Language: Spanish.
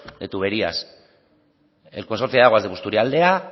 de tuberías el consorcio de aguas de busturialdea